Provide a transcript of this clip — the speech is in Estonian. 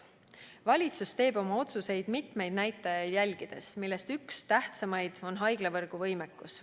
Valitsus teeb oma otsuseid mitmeid näitajaid jälgides, millest üks tähtsaimaid on haiglavõrgu võimekus.